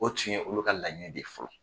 O tun ye olu ka laɲini de fɔlɔ.